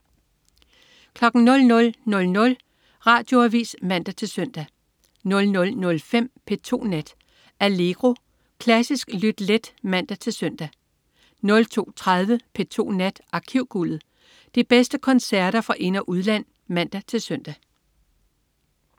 00.00 Radioavis (man-søn) 00.05 P2 Nat. Allegro. Klassisk lyt let (man-søn) 02.30 P2 Nat. Arkivguldet. De bedste koncerter fra ind- og udland (man-søn)